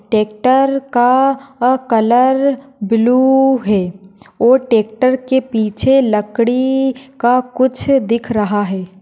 Tractor का अ colour blue है। और टेकटर के पिछे लकड़ी का कुछ दिख रहा है।